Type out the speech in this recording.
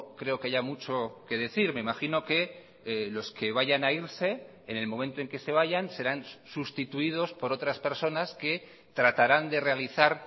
creo que haya mucho que decir me imagino que los que vayan a irse en el momento en que se vayan serán sustituidos por otras personas que tratarán de realizar